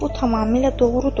Bu tamamilə doğrudur.